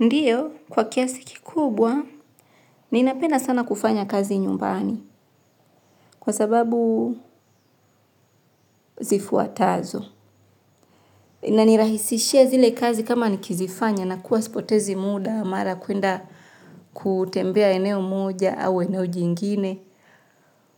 Ndiyo, kwa kiasi kikubwa, ni napenda sana kufanya kazi nyumbani kwa sababu zifuatazo. Ina nirahisishia zile kazi kama nikizifanya na kuwa sipotezi muda, mara kwenda kutembea eneo moja au eneo jingine.